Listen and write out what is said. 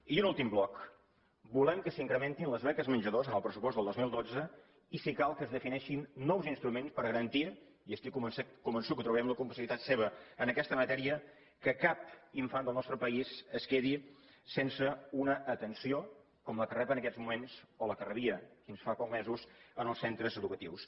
i un últim bloc volem que s’incrementin les beques menjador en el pressupost del dos mil dotze i si cal que es defineixin nous instruments per garantir i estic convençut que trobarem la complicitat seva en aquesta matèria que cap infant del nostre país es quedi sense una atenció com la que rep en aquests moments o la que rebia fins fa pocs mesos en els centres educatius